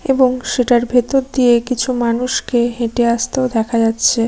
এবং সেটার ভেতর দিয়ে কিছু মানুষ কে হেঁটে আসতে ও দেখা যাচ্ছে ।